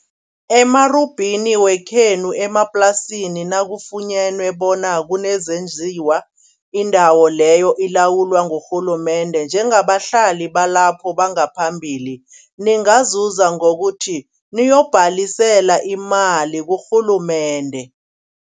Emarubhini wekhenu emaplasini nakafunyene bona kunezenjiwa. Indawo leyo ilawulwa ngurhulumende, njengabahlali balapho bangaphambilini ningazuza ngokuthi niyokubhalisela imali kurhulumende.